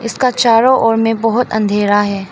का चारो ओर मे बहोत अंधेरा है।